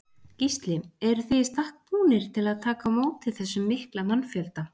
Gísli: Eruð þið í stakk búnir til að taka á móti þessum mikla mannfjölda?